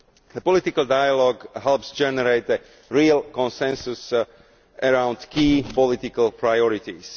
The political dialogue helps to generate a real consensus around key political priorities.